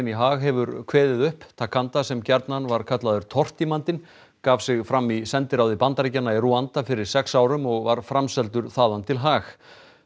í Haag hefur kveðið upp ntaganda sem gjarnan var kallaður tortímandinn gaf sig fram í sendiráði Bandaríkjanna í Rúanda fyrir sex árum og var framseldur þaðan til Haag